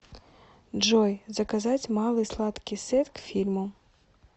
джой заказать малый сладкий сет к фильму